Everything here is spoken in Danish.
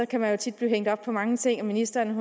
kan man jo tit blive hængt op på mange ting og ministeren